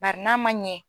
Bari n'a ma ɲɛ